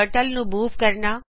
turtle ਨੂੰ move ਕਰਨਾ